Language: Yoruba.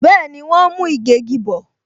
Bẹẹni, wọn ń mú ìgégi bò